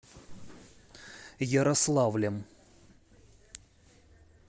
ярославлем